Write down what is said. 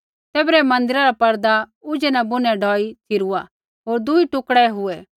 तैबरै मन्दिरा रा पर्दा ऊझै न बुनै ढौई च़िरूआ होर दुई टुकड़ै हुऐ